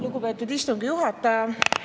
Lugupeetud istungi juhataja!